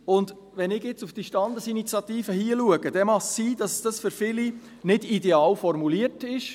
Und wenn ich nun auf die Standesinitiative hier schaue, dann mag es sein, dass sie für viele nicht ideal formuliert ist.